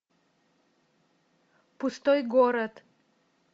пустой город